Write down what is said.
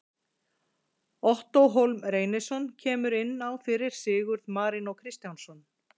Ottó Hólm Reynisson kemur inn á fyrir Sigurð Marinó Kristjánsson.